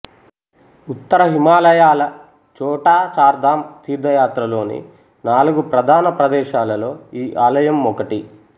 ఉత్తర హిమాలయాల చోటా చార్ ధామ్ తీర్థయాత్రలోని నాలుగు ప్రధాన ప్రదేశాలలో ఈ ఆలయం ఒకటి